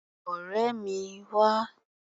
Ọ̀rẹ́ mi, wá!